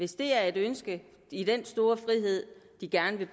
hvis det er et ønske en stor frihed de gerne vil